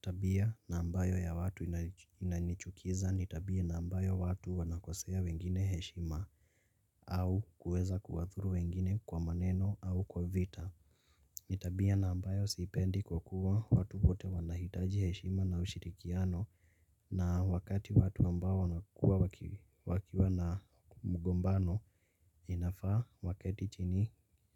Tabia na ambayo ya watu inanichukiza ni tabia na ambayo watu wanakosea wengine heshima au kuweza kuwathuru wengine kwa maneno au kwa vita ni tabia na ambayo siipendi kwa kuwa watu wote wanahitaji heshima na ushirikiano na wakati watu ambao wanakua wakiwa na mugombano inafaa waketi chini